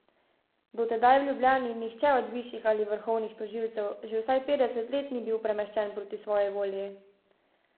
Do tedaj v Ljubljani nihče od višjih ali vrhovnih tožilcev že vsaj petdeset let ni bil premeščen proti svoji volji.